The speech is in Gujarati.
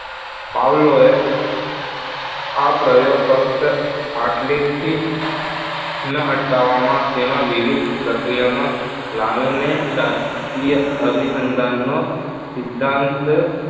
પાવલોએ આ પ્રયોગ ફક્ત આટલેથી જ ન અટકાવામાં તેમાં વિવિધ પ્રક્રિયાનો લાવીને શાસ્ત્રીય અભિસંદનનો સિદ્ધાંત